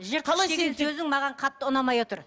маған қатты ұнамай отыр